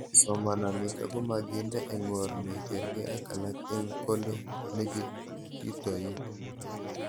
Somana nitok komakinde eng' or ne karkei ak alak eng' kole kinetitoi